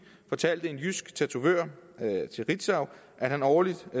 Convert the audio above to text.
fortalte en jysk tatovør til ritzau at han årligt